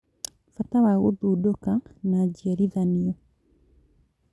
Bata wa gũthundũka na njiarithanio